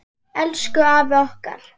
Elsku afi okkar.